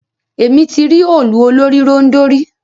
Émi ti ri òòlù olórì-ròndọ̀ rí.